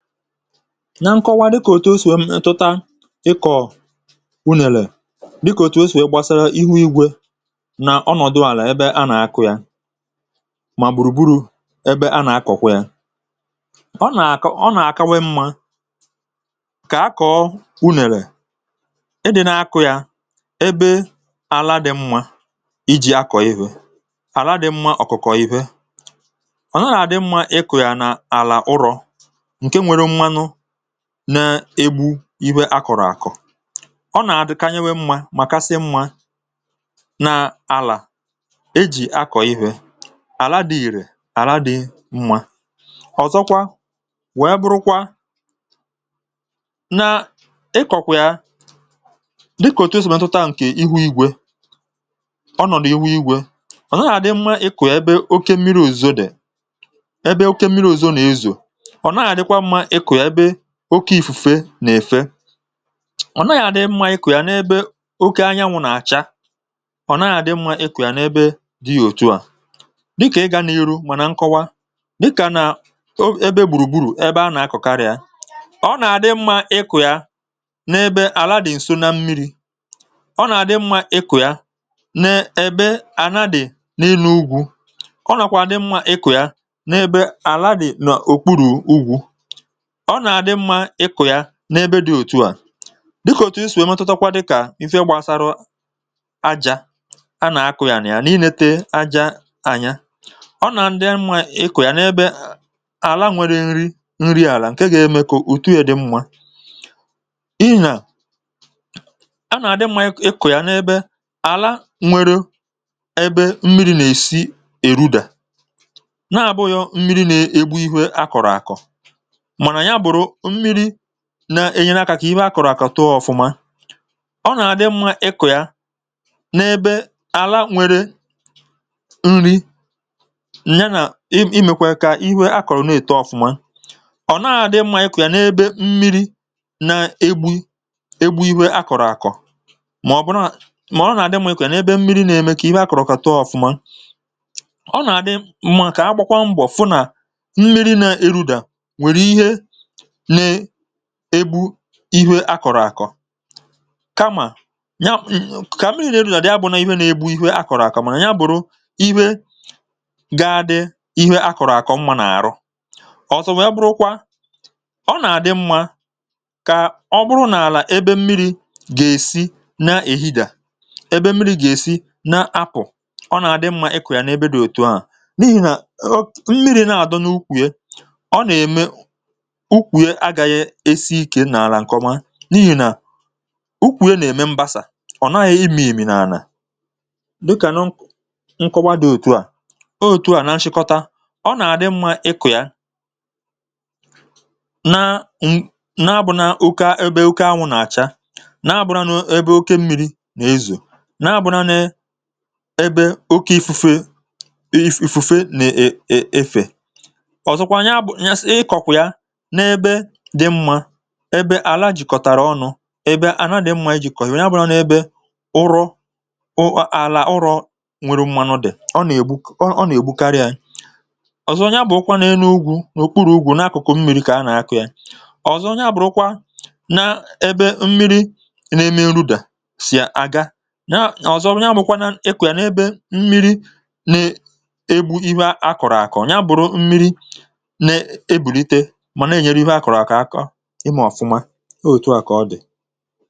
na nkọwa dịkà òtù o sì we m etụta ịkọ̀ unèlè dịkà òtù o sì we gbasara ihu igwė nà ọnọ̀dụ àlà ebe a nà-akụ̀ ya mà gbùrùgburù ebe a nà-akọ̀kwà yà ọ nà-àkọ ọ nà-àkawe mmȧ kà akọ̀ unèlè e dị̀ n’akụ̀ yà ebe àla dị̀ mmȧ iji̇ akọ̀ ihė àla dị̀ mmȧ ọ̀kụ̀kọ̀ ihė ọ̀nààlà dị mmȧ ịkụ̀ yà nà àlà ụrọ̇ na-egbu̇ ihe à kọ̀rọ̀ àkọ̀ ọ nà-àdịkanyewė mmȧ mà kasị mmȧ na àlà ejì akọ̀ ihė àla dị ìrè àla dị mmȧ ọ̀zọkwa weè burukwa na ikọ̀kwị̀a dịkà òtù esìmètụta ǹkè ihu igwė ọ nọ̀dụ̀ ihu igwė ọ̀ nà ahà dị mmȧ ịkụ̀ ebe oke mmiri̇ ùzo dị̀ ebe oke mmiri̇ ùzo nà-ezò oke ifu̇fe nà-èfe ọ̀ naghị̇ adị̇ mmȧ ịkụ̇ yà n’ebe oke anyanwụ̇ nà-àcha ọ̀ naghị̇ adị mmȧ ịkụ̇ yà n’ebe dị yȧ òtù à um dịkà ịgȧ n’ihu mà nà nkọwa dịkà nà o ebe gbùrùgburu̇ ebe a nà-akọ̀ karịa ọ nà-adị mmȧ ịkụ̇ yà n’ebe àladị̇ ǹso na mmiri̇ ọ nà-àdị mmȧ ịkụ̇ yà na-èbe ànadị̀ n’ịnụ̇ ugwù ọ nàkwà àdị mmȧ ịkụ̇ yà n’ebe àladị̀ nà òkpuru̇ ugwù ọ nà àdị mmȧ ịkụ̀ ya n’ebe dị òtù à dịkà òtù isì èmetutakwa dịkà ife gbasara àjà a nà àkụ ya nà ya n’inėte àjà ànyà ọ nà àdị mmȧ ịkụ̀ ya n’ebe àla nwere nri nri àlà ǹke ga-eme kà òtù ya dị mmȧ n’ihi nà a nà àdị mmȧ ịkụ̀ ya n’ebe àla nwere ebe mmiri̇ nà-èsi èruda na-àbụghọ mmiri̇ nà-ègbu ihu a kọ̀rọ̀ àkọ̀ nà-ènyere akȧ kà ihe akọ̀rọ̀ àkọ̀ tụọ ọ̀fụma ọ nà-adị mmȧ ịkụ̀ ya n’ebe àla nwere nri ǹ ya nà imèkwà kà ihu akọ̀rọ̀ na-èto ọ̀fụma ọ̀ na-àdị mmȧ ikụ̀ ya n’ebe mmiri̇ na-egbu egbu ihė akọ̀rọ̀ àkọ̀ mà ọ bụ̀na mà ọ nà-àdị mmị̇kụ̀ ya n’ebe mmiri̇ nà-ème kà ihe akọ̀rọ̀ kàtụọ ọ̀fụma ọ nà-àdị mma kà agbakwa mbọ̀ fụ nà mmiri nà erudà igwe akọ̀rọ̀ àkọ̀ kamà nya kà mm mm kà mmiri nà-eru nà ya bụ̀ nà igwè nà-egbu ihu àkọ̀rọ̀ àkọ̀ mànà ya bụ̀rụ̀ ihẹ gị dị ihẹ akọ̀rọ̀ àkọ̀ mma nà-àrọ̀ ọ̀zọ wee bụrụkwa ọ nà-àdị mmȧ kà ọ bụrụ n’àlà ebe mmiri̇ gà-èsi na èhida ebe mmiri̇ gà-èsi na apụ̀ ọ nà-àdị mmȧ ikù yà n’ebe dị òtù ahụ̀ um n’ihì hà mmiri̇ na-àdị n’ukwù ye isi ikė n’àlà nkọwa n’ihì nà ukwùye nà-ème mbasà ọ̀ naghị̇ imi̇mì n’ànà dịkà nọ nkọwa dị òtu à òtu à nà nchịkọta ọ nà-àdị mmȧ ịkụ̇ yȧ na n’abụ̇nȧ ụkȧ ebe oke anwụ̇ nà-àcha n’abụ̇nȧ n’ebe oke mmiri̇ nà-ezù n’abụ̇nȧ n’ebe oke ifufe ifufe nà-èfe ọ̀zọkwa nye abụ̇ n’ịkọ̀kụ̀ ya ebe àlà jìkọ̀tàrà ọnụ̇ ebe àlà dị mmȧ iji̇ kọ̀ ya bụrụ nà ebe ụrọ̇ àlà ụrọ̇ nwere mmanụ dị̀ ọ nà ègbu ọ nà ègbu karịa i ọ̀zọ ya bụ̀ ụkwa nà-enu ugwù n’ùkpuru̇ ugwù n’akụ̀kụ̀ mmiri̇ kà a nà-akụ̀ ya ọ̀zọ ya bụrụkwa n’ebe mmiri̇ na-eme nrudà sì aga ọ̀zọ ọ̀ ya bụkwa nà-ekù ya n’ebe mmiri̇ nà-egbu ihe akọ̀rọ̀ àkọ̀ nya bụ̀rụ̀ mmiri̇ nà-ebùlite e um otu a kà ọ dị̀